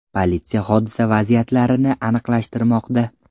Politsiya hodisa vaziyatlarini aniqlashtirmoqda.